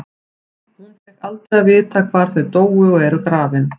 Hún fékk aldrei að vita hvar þau dóu og eru grafin.